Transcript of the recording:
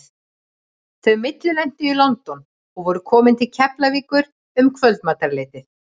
Þau millilentu í London og voru komin til Keflavíkur um kvöldmatarleytið.